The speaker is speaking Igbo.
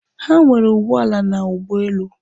Ha nwere ụgbọala na ụgbọelu.